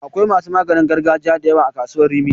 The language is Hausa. Akwai masu maganin gargajiya da yawa a kasuwar Rimi.